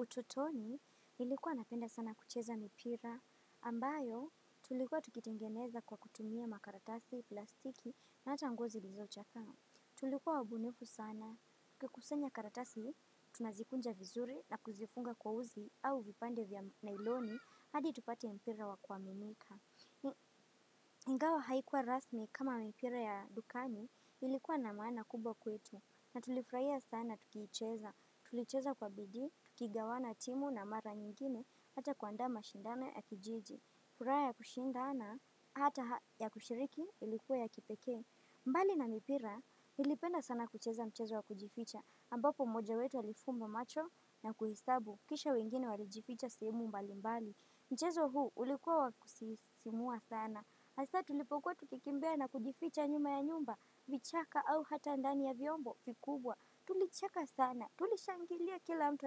Utotoni, nilikuwa napenda sana kucheza mipira, ambayo tulikuwa tukitengeneza kwa kutumia makaratasi, plastiki na ata nguo zilizochakaa. Tulikuwa wabunifu sana, kukusanya karatasi, tunazikunja vizuri na kuzifunga kwa uzi au vipande vya nailoni, hadi tupate mpira wa kwa mimika. iNgawa haikuwa rasmi kama mipira ya dukani ilikuwa na maana kubwa kwetu. Na tulifurahia sana tukiicheza, tulicheza kwa bidi, tukigawana timu na mara nyingine hata kuandaa mashindane ya kijiji, furaha ya kushindana, hata ya kushiriki ilikuwa ya kipeke. Mbali na mipira nilipenda sana kucheza mchezo wa kujificha ambapo moja wetu alifumba macho na kuhistabu, kisha wengine warijificha simu mbali mbali. Mchezo huu ulikuwa wakusisimua sana, hasa tulipokuwa tukikimbea na kujificha nyuma ya nyumba, vichaka au hata ndani ya vyombo vikubwa. Tulicheka sana tulishangilia kila mtu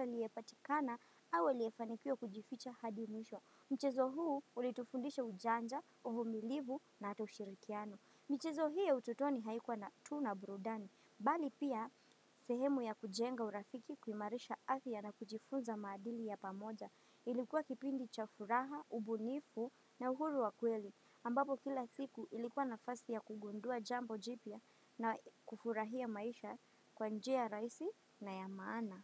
aliteoatikana au aliye changia kupatikana hadi mwisho. Mchezo huu ulitufundisha ujanja, uvumilivu na ata ushirikiano. Michezo hii ya ututoni haikuwa tu na burudani, mbali pia sehemu ya kujenga urafiki kuimarisha ardhi ya na kujifunza madili ya pamoja. Ilikuwa kipindi cha furaha, ubunifu na uhuru wa kweli ambapo kila siku ilikuwa nafasi ya kugundua jambo jipya na kufurahia maisha kwa njia rahisi na ya maana.